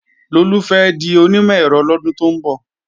Lolú fẹ́ di onímọ̀-ẹ̀rọ lọ́dún tó ń bọ̀